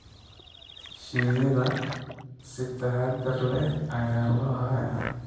Shinida si taxadar leh ayaa loo hayaa.